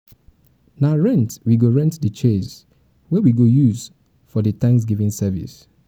na rent we go rent the chairs wey we go use for di thanksgiving service